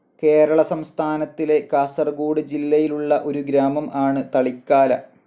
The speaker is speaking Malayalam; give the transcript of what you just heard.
കേരള സംസ്ഥാനത്തിലെ, കാസർഗോഡ് ജില്ലയിലുള്ള ഒരു ഗ്രാമം ആണ് തളിക്കാല.